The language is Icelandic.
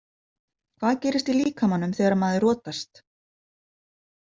Hvað gerist í líkamanum þegar maður rotast?